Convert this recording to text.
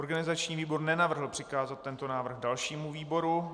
Organizační výbor nenavrhl přikázat tento návrh dalšímu výboru.